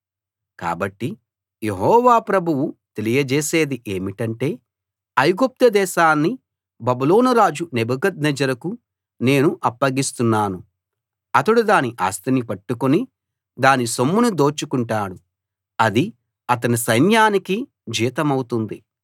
కాబట్టి యెహోవా ప్రభువు తెలియజేసేది ఏమిటంటే ఐగుప్తు దేశాన్ని బబులోను రాజు నెబుకద్నెజరుకు నేను అప్పగిస్తున్నాను అతడు దాని ఆస్తిని పట్టుకుని దాని సొమ్మును దోచుకుంటాడు అది అతని సైన్యానికి జీతమవుతుంది